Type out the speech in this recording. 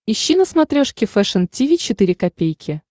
ищи на смотрешке фэшн ти ви четыре ка